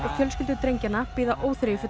fjölskyldur drengjanna bíða